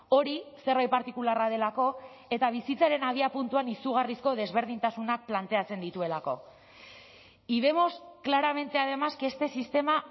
hori zerbait partikularra delako eta bizitzaren abiapuntuan izugarrizko desberdintasunak planteatzen dituelako y vemos claramente además que este sistema